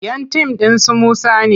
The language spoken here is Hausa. Yan tim ɗin su Musa ne.